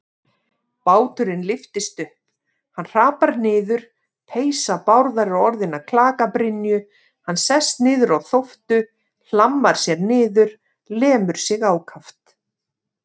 Báturinn lyftist upp, hann hrapar niður, peysa Bárðar er orðin að klakabrynju, hann sest niður á þóftu, hlammar sér niður, lemur sig ákaft.